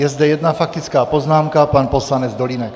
Je zde jedna faktická poznámka, pan poslanec Dolínek.